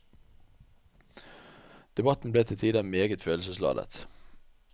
Debatten ble til tider meget følelsesladet.